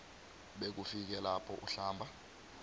bekufike lapho uhlamba